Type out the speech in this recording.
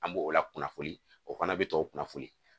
An b'o la kunnafoni o fana bɛ tɔw kunnafoni